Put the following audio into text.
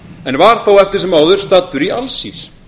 en var þó eftir sem áður staddur í alsír